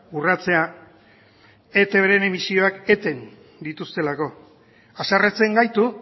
urratzea etbren emisioak eten dituztelako haserretzen gaitu